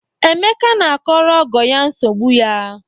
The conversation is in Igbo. Emeka na-akọrọ ọgọ ya nsogbu ya.